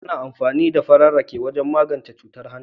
Ana amfani da farar rake wajen magance cutar hanta.